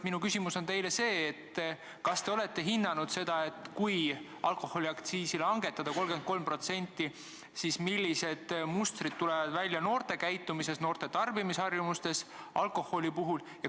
Minu küsimus on see: kas te olete hinnanud, et kui alkoholiaktsiisi langetada 33%, siis millised mustrid tulevad välja noorte käitumises, noorte tarbimisharjumustes?